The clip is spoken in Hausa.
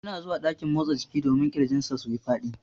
Yana zuwa dakin motsa jiki domin kirjin sa suyi Fadi.